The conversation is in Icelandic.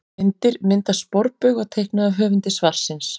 Myndir: Mynd af sporbaug var teiknuð af höfundi svarsins.